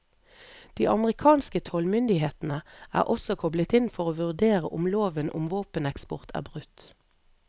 De amerikanske tollmyndighetene er også koblet inn for å vurdere om loven om våpeneksport er brutt.